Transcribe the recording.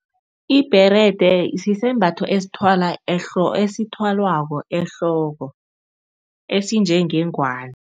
Ibherede sisembatho esithwalwako ehloko, esinjengengwani.